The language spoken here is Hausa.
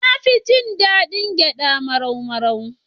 Na fi jin daɗin gyaɗa marau-marau.